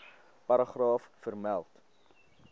paragraaf vermeld